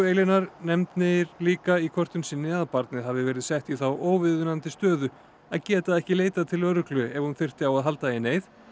Elínar nefnir líka í kvörtun sinni að barnið hafi verið sett í þá óviðunandi stöðu að geta ekki leitað til lögreglu ef hún þyrfti á að halda í neyð